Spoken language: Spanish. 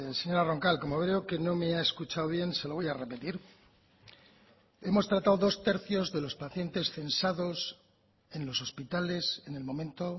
señora roncal como veo que no me ha escuchado bien se lo voy a repetir hemos tratado dos tercios de los pacientes censados en los hospitales en el momento